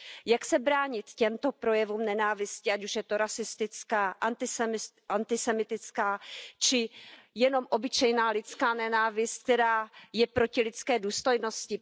Jak se bránit těmto projevům nenávisti, ať už je to rasistická, antisemitská či jen obyčejná lidská nenávist, která je proti lidské důstojnosti?